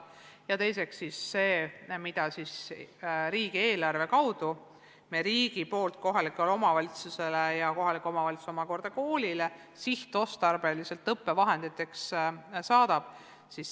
Ja teiseks on see, mida riik riigieelarve kaudu kohalikele omavalitsustele ja kohalik omavalitsus omakorda koolile sihtotstarbeliselt õppevahendite ostmiseks saadab.